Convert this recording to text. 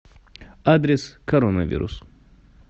адрес коронавирус